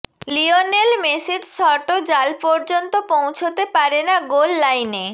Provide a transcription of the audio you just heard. Lionel মেসির শটও জাল পর্যন্ত পৌঁছতে পারে না গোল লাইনে